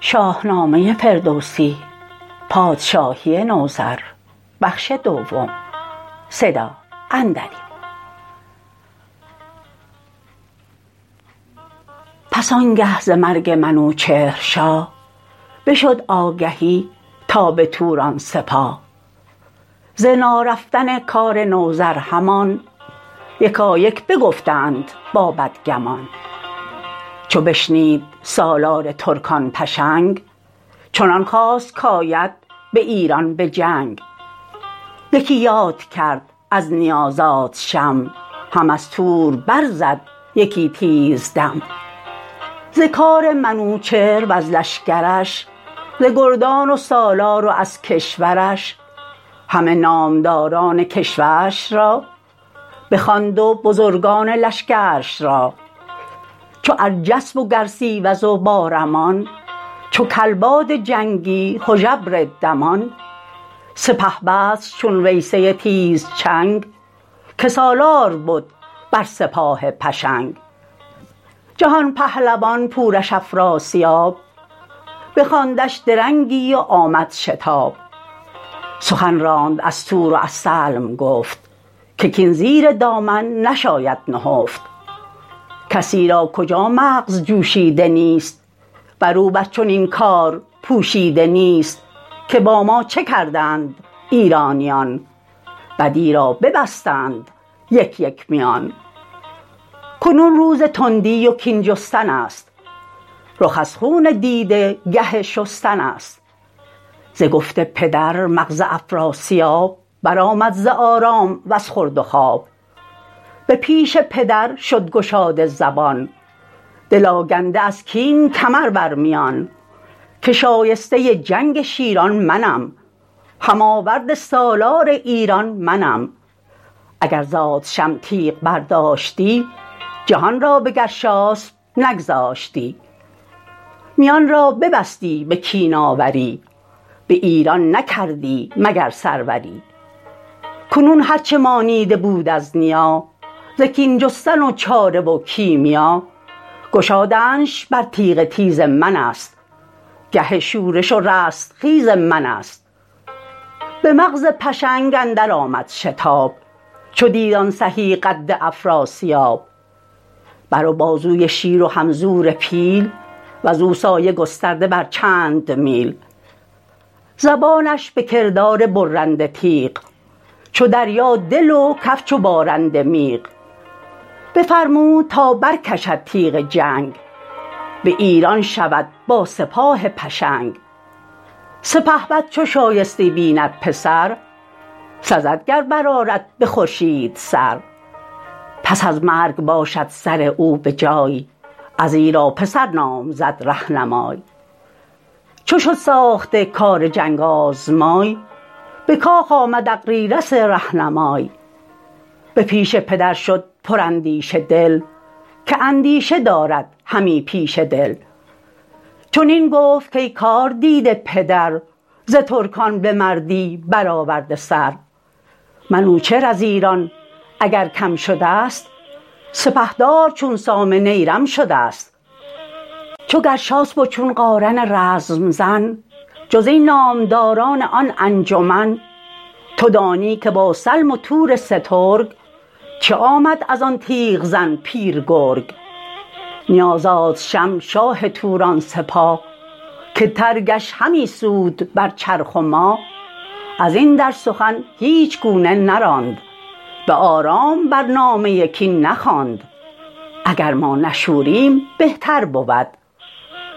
پس آنگه ز مرگ منوچهر شاه بشد آگهی تا به توران سپاه ز نارفتن کار نوذر همان یکایک بگفتند با بدگمان چو بشنید سالار ترکان پشنگ چنان خواست کاید به ایران به جنگ یکی یاد کرد از نیا زادشم هم از تور بر زد یکی تیز دم ز کار منوچهر و از لشکرش ز گردان و سالار و از کشورش همه نامداران کشورش را بخواند و بزرگان لشکرش را چو ارجسپ و گرسیوز و بارمان چو کلباد جنگی هژبر دمان سپهبدش چون ویسه تیزچنگ که سالار بد بر سپاه پشنگ جهان پهلوان پورش افراسیاب بخواندش درنگی و آمد شتاب سخن راند از تور و از سلم گفت که کین زیر دامن نشاید نهفت کسی را کجا مغز جوشیده نیست برو بر چنین کار پوشیده نیست که با ما چه کردند ایرانیان بدی را ببستند یک یک میان کنون روز تندی و کین جستنست رخ از خون دیده گه شستنست ز گفت پدر مغز افراسیاب برآمد ز آرام وز خورد و خواب به پیش پدر شد گشاده زبان دل آگنده از کین کمر برمیان که شایسته جنگ شیران منم هم آورد سالار ایران منم اگر زادشم تیغ برداشتی جهان را به گرشاسپ نگذاشتی میان را ببستی به کین آوری بایران نکردی مگر سروری کنون هرچه مانیده بود از نیا ز کین جستن و چاره و کیمیا گشادنش بر تیغ تیز منست گه شورش و رستخیز منست به مغز پشنگ اندر آمد شتاب چو دید آن سهی قد افراسیاب بر و بازوی شیر و هم زور پیل وزو سایه گسترده بر چند میل زبانش به کردار برنده تیغ چو دریا دل و کف چو بارنده میغ بفرمود تا برکشد تیغ جنگ به ایران شود با سپاه پشنگ سپهبد چو شایسته بیند پسر سزد گر برآرد به خورشید سر پس از مرگ باشد سر او به جای ازیرا پسر نام زد رهنمای چو شد ساخته کار جنگ آزمای به کاخ آمد اغریرث رهنمای به پیش پدر شد پراندیشه دل که اندیشه دارد همی پیشه دل چنین گفت کای کار دیده پدر ز ترکان به مردی برآورده سر منوچهر از ایران اگر کم شدست سپهدار چون سام نیرم شدست چو گرشاسپ و چون قارن رزم زن جز این نامداران آن انجمن تو دانی که با سلم و تور سترگ چه آمد ازان تیغ زن پیر گرگ نیا زادشم شاه توران سپاه که ترگش همی سود بر چرخ و ماه ازین در سخن هیچ گونه نراند به آرام بر نامه کین نخواند اگر ما نشوریم بهتر بود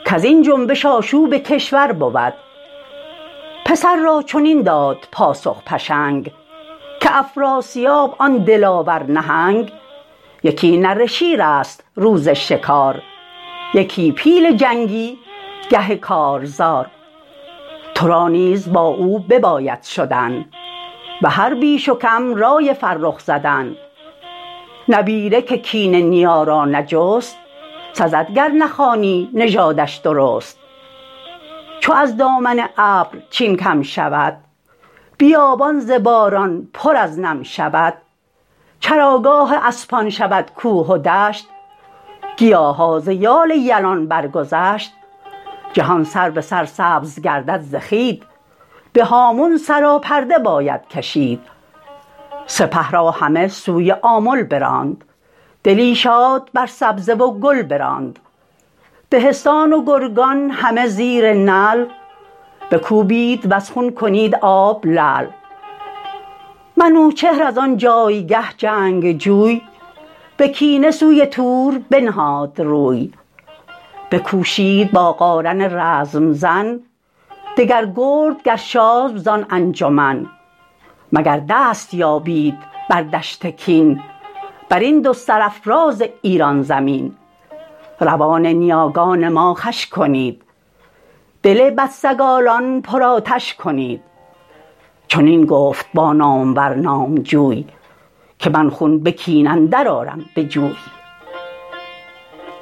کزین جنبش آشوب کشور بود پسر را چنین داد پاسخ پشنگ که افراسیاب آن دلاور نهنگ یکی نره شیرست روز شکار یکی پیل جنگی گه کارزار ترا نیز با او بباید شدن به هر بیش و کم رای فرخ زدن نبیره که کین نیا را نجست سزد گر نخوانی نژادش درست چو از دامن ابر چین کم شود بیابان ز باران پر از نم شود چراگاه اسپان شود کوه و دشت گیاها ز یال یلان برگذشت جهان سر به سر سبز گردد ز خوید به هامون سراپرده باید کشید سپه را همه سوی آمل براند دلی شاد بر سبزه و گل براند دهستان و گرگان همه زیر نعل بکوبید وز خون کنید آب لعل منوچهر از آن جایگه جنگجوی به کینه سوی تور بنهاد روی بکوشید با قارن رزم زن دگر گرد گرشاسپ زان انجمن مگر دست یابید بر دشت کین برین دو سرافراز ایران زمین روان نیاگان ما خوش کنید دل بدسگالان پرآتش کنید چنین گفت با نامور نامجوی که من خون به کین اندر آرم به جوی